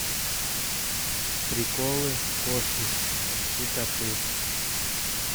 приколы кошки и коты